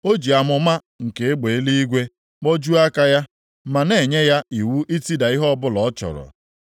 O ji amụma nke egbe eluigwe kpojuo aka ya, ma na-enye ya iwu itida ihe ọbụla ọ chọrọ.